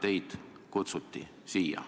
Kellena teid siia kutsuti?